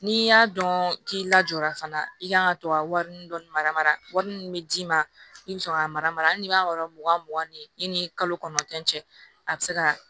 N'i y'a dɔn k'i lajɔra fana i kan ka to ka wari dɔ mara wari min bɛ d'i ma i bɛ sɔrɔ ka mara hali n'i b'a yɔrɔ mugan mugan ni i ni kalo kɔnɔntɔn cɛ a bɛ se ka